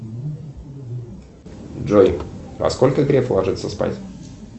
джой во сколько греф ложится спать